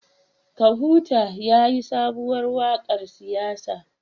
Kahutu yayi sabuwar wakar siyasa